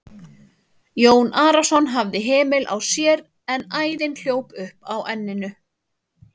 Jón Arason hafði hemil á sér en æðin hljóp upp á enninu.